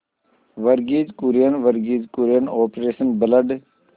Verghese Kurien Verghese Kurien operation blood